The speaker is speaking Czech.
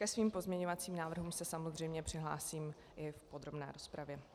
Ke svým pozměňovacím návrhům se samozřejmě přihlásím i v podrobné rozpravě.